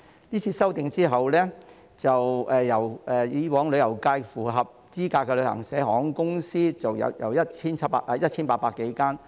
這次修訂後，以往旅遊界內符合資格的旅行社及航空公司數目將由 1,800 多間減至200多間。